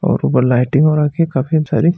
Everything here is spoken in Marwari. और ऊपर लाइटिंग हो रखी हैं काफी सारी --